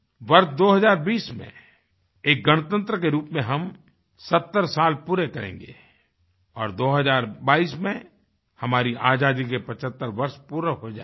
वर्ष 2020 में एक गणतंत्र के रूप में हम 70 साल पूरे करेंगे और 2022 में हमारी आज़ादी के 75 वर्ष पूरे हो जायेंगे